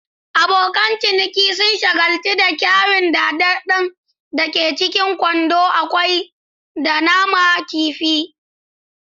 Abokan ciniki sun shagaltu da kayan daɗaɗɗen da ke cikin kwandon kwai da naman kifi.